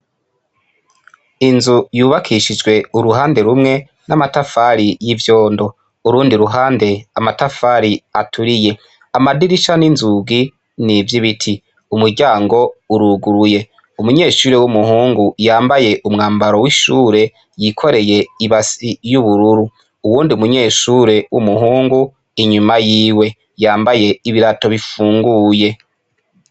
Inzu yubakishijwe uruhande rumwe n'amatafari y'ivyondo, urundi ruhande amatafari aturiye, amadirisa n'inzugi n'ivy’ibiti, umuryango uruguruye umunyeshuri w'umuhungu yambaye umwambaro w'ishure yikoreye ibasi y'ubururu, uwundi umunyeshure w'umuhungu inyuma yiwe yambaye ibirato bifunguye.